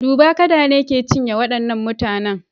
Duba! kada ne ke cinye waɗannan mutanen.